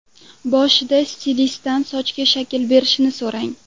Boshida stilistdan sochga shakl berishni so‘rang.